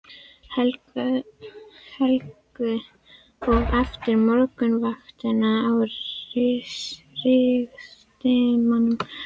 Helgu og eftir morgunvaktina á Ritsímanum ráfaði ég um miðbæinn.